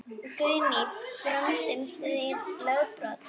Guðný: Frömduð þið lögbrot?